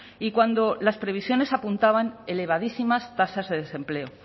y cuando las previsiones apuntaban elevadísimas tasas de desempleo